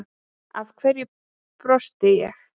Af hverju brosti ég